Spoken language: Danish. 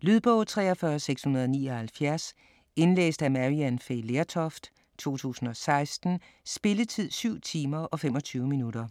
Lydbog 43679 Indlæst af Maryann Fay Lertoft, 2016. Spilletid: 7 timer, 25 minutter.